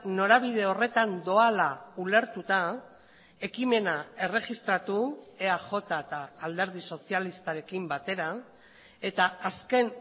norabide horretan doala ulertuta ekimena erregistratu eaj eta alderdi sozialistarekin batera eta azken